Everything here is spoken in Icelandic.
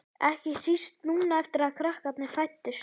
Ekki síst núna eftir að krakkarnir fæddust.